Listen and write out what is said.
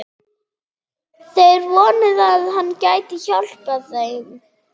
Þeir vonuðu, að hann gæti hjálpað þeim.